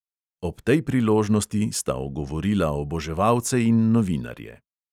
Ob tej priložnosti sta ogovorila oboževalce in novinarje.